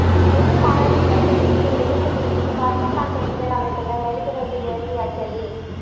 டெல்லி மாணவி கற்பழிப்புக்கு எதிர்ப்பு தெரிவித்து பாகிஸ்தான் பெண்கள் அமைப்பினர் மெழுகுவர்த்தி ஏந்தி அஞ்சலி